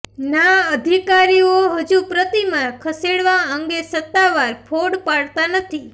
ના અધિકારીઓ હજુ પ્રતિમા ખસેડવા અંગે સત્તાવાર ફોડ પાડતા નથી